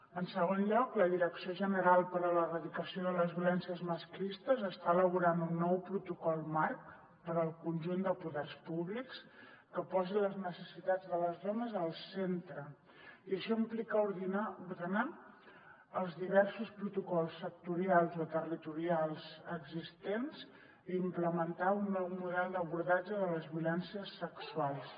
en segon lloc la direcció general per a l’erradicació de les violències masclistes està elaborant un nou protocol marc per al conjunt de poders públics que posi les necessitats de les dones al centre i això implica ordenar els diversos protocols sectorials o territorials existents i implementar un nou model d’abordatge de les violències sexuals